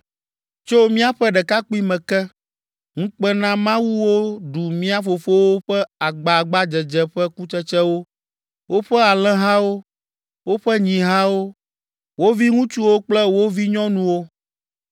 Tso míaƒe ɖekakpuime ke, ŋukpenamawuwo ɖu mía fofowo ƒe agbagbadzedze ƒe kutsetsewo, woƒe alẽhawo, woƒe nyihawo, wo viŋutsuwo kple wo vinyɔnuwo.